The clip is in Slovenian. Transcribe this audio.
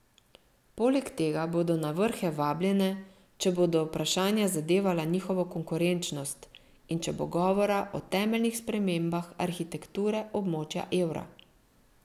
Poleg tega bodo na vrhe vabljene, če bodo vprašanja zadevala njihovo konkurenčnost in če bo govora o temeljnih spremembah arhitekture območja evra.